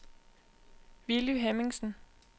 Villy Hemmingsen